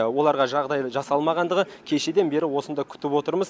оларға жағдай жасалмағандығы кешеден бері осында күтіп отырмыз